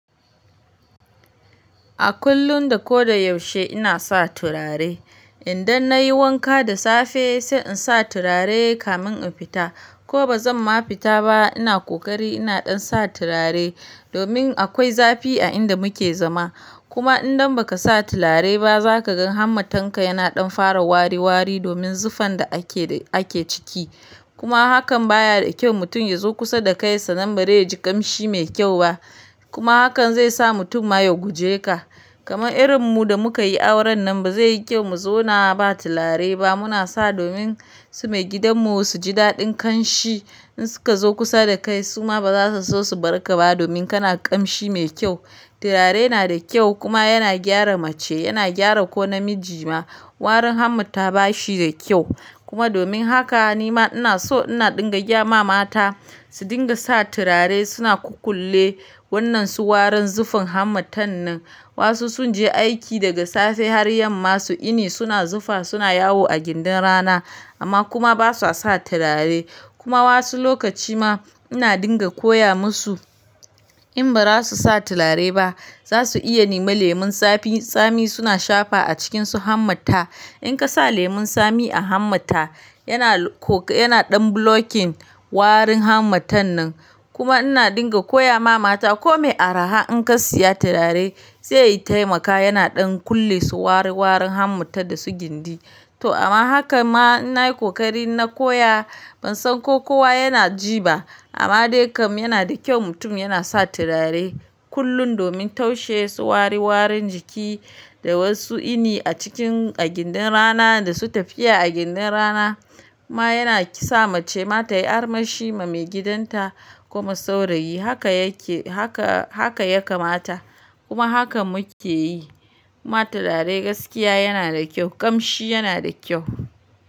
A kullun da ko da yaushe ina sa turare. Idan nayi wanka da safe sai in sa turare kamin in fita ko bazan ma fita ba ina ƙoƙari ina ɗan sa turare domin akwai zafi a inda muke zama. Kuma idan baka sa turare ba zaka gan hammatanka yana ɗan fara wari wari domin zufan da ake ciki. Kuma hakan baya da kyau mutum ya zo kusa da kai sannan bari yaji ƙamshi mai kyau ba. Kuma hakan zai sa mutum ma ya guje ka. Kamar irin mu da muka yi auren nan ba zai yi kyau mu zauna ba turare ba. Muna sa domin su maigidanmu su ji daɗin kanshi in suka zo kusa da kai suma ba za su so su barka ba domin kana ƙamshi mai kyau. Turare na da kyau kuma yana gyara mace, yana gyara ko namiji ma. Warin hamta ba shi da kyau kuma domin haka nima ina so ina dinga gaya ma mata su dinga sa turare suna ku kulle wannan su warin zufin hamta nan. Wasu sun je aiki daga safe har yamma su yini suna zufa suna yawo a gindin rana amma kuma basa sa turare. Kuma wasu lokaci ma ina dinga koya musu in ba za su sa turare ba za su iya nema lemun tsami suna shafa a cikinsu hamta. In ka sa lemun tsami a hammata yana ɗan blocking warin hammatan nan. Kuma ina dinga koya ma mata kome araha in ka siya turare zai tayi maka yana ɗan kulle su wari warin hamta da su gindi. To amma haka ma ina yi kokari na koya ban san ko kowa yana ji ba amma dai kam yana da kyau mutum yana sa turare kullun domin taushe su wari warin jiki da wasu ini a cikin a gindin rana da su tafiya a gindin rana ma yana sa mace mata yi armashi ma maigidanta kuma saurayi haka yaka mata kuma haka muke yi. Ma turare gaskiya yana da kyau, ƙamshi yana da kyau.